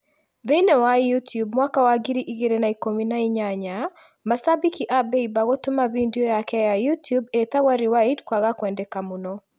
Thĩiniĩ wa youtube mwaka wa ngiri igĩrĩ na ikũmi na inyanya, macambĩki a Bieber gũtũma bindiũ yake ya youtube ĩtagwo ‘rewind’ kwaga kwendeka mũno.